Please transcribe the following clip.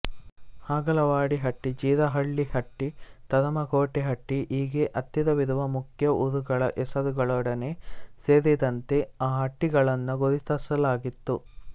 ಹಾಗಲವಾಡಿ ಹಟ್ಟಿ ಜೀರಹಳ್ಳಿ ಹಟ್ಟಿ ತರಮಕೋಟೆ ಹಟ್ಟಿ ಹೀಗೆ ಹತ್ತಿರವಿರುವ ಮುಖ್ಯ ಊರುಗಳ ಹೆಸರುಗಳೊಡನೆ ಸೇರಿದಂತೆ ಆ ಹಟ್ಟಿಗಳನ್ನು ಗುರುತಿಸಲಾಗುತ್ತದೆ